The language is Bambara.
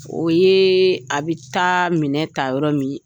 O ye a bɛ taa minɛ ka yɔrɔ min